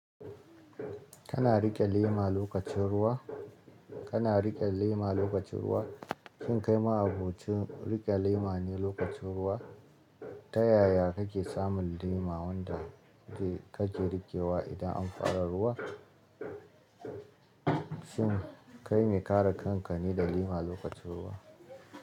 Kana riƙe lema lokacin ruwa? --Kana riƙe lema lokacin ruwa? Shin kai ma'abocin riƙe lema ne lokacin ruwa? Ta yaya kake samun lema wanda dai kake riƙewa idan an fara ruwa? Shin kai mai kare kanka ne da lema lokacin ruwa?